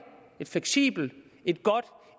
et fleksibelt et godt